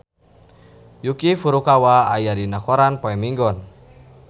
Yuki Furukawa aya dina koran poe Minggon